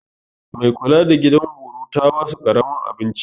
Mai kula da gidan horo ta basu karamin abinci.